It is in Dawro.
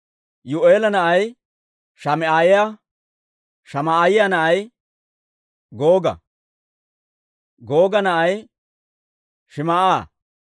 Yuu'eela na'ay Shamaa'iyaa; Shamaa'iyaa na'ay Googa; Googa na'ay Shim"a;